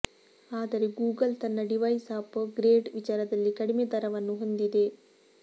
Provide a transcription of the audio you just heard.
ಆದರೆ ಗೂಗಲ್ ತನ್ನ device upgrade ವಿಚಾರದಲ್ಲಿ ಕಡಿಮೆ ದರವನ್ನು ಹೊಂದಿದೆ